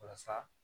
Walasa